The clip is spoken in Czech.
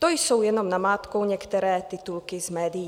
To jsou jenom namátkou některé titulky z médií.